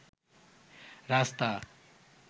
রাস্তা